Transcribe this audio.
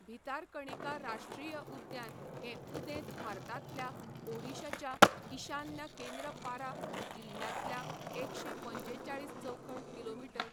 भितारकणिका राश्ट्रीय उद्यान हें उदेंत भारतांतल्या ओडिशाच्या ईशान्य केंद्रपारा जिल्ह्यांतलें एकशें पंचेचाळीस चौखण किमी.